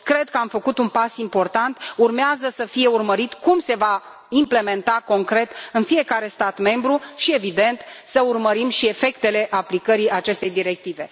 Cred că am făcut un pas important, urmează să fie urmărit cum se va implementa concret, în fiecare stat membru și, evident, să urmărim și efectele aplicării acestei directive.